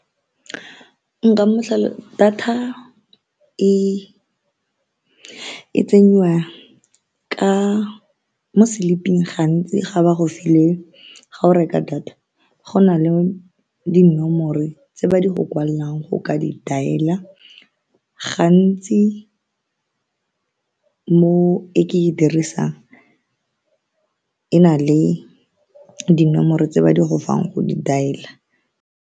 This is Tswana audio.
Nka data e tsenyiwa ka mo slip-ing, gantsi ga ba go file. Ga o reka data, go na le dinomoro tse ba di go kwalelang go ka di dialer, gantsi mo e ke e dirisang e na le dinomoro tse ba di go fang go di dial-la.